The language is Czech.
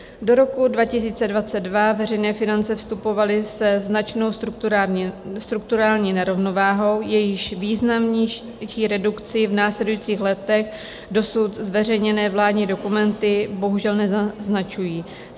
Do roku 2022 veřejné finance vstupovaly se značnou strukturální nerovnováhou, jejíž významnější redukci v následujících letech dosud zveřejněné vládní dokumenty bohužel nenaznačují.